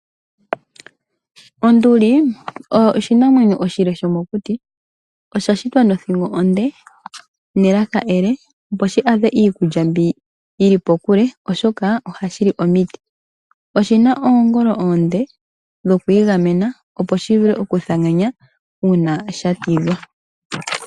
Onduli oyo oshinamwenyo oshile shomokuti, oya shitwa nothingo onde, nelaka ele opo shi adhe iikulya myono yi li kokule shoka oha shi li omiti. Oyina oongolo oonde dho kwiigamena uuna sha tidhwa.